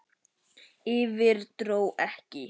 Yfir- dró ekki!